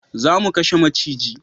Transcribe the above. Za mu kashe maciji